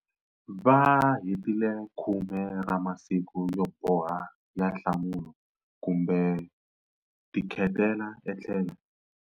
Va hetile 10 ra masiku yo boha ya nhlambulo kumbe ku tikhetela etlhelo.